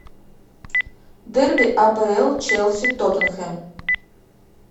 дерби апл челси тоттенхэм